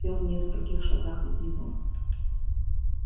бог сел в нескольких шагах от него